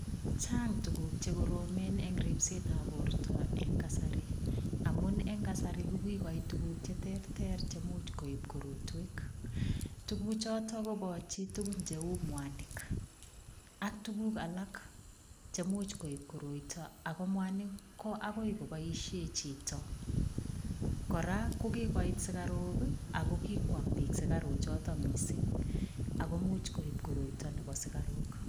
Chang tuguk che koromen eng ripsetab borto eng kasari amun eng kasari, ko kogoit tuguk che terter chemuch koip korotwek. Tuguchotet kopoch tuguk cheu mwanik ak tuguk alak che much koip koroito ago mwanik ko agoi koboisie chito. Kora kigoit sugaruk ago kikwam biik sugaruchoto mising ago imuch koip koroito nebo sugaruk.